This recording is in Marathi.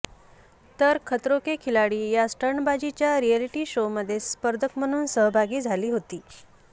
तर खतरों के खिलाडी या स्टंट्बाजीच्या रिएलिटी शोमध्ये स्पर्धक म्हणून सहभागी झाली होती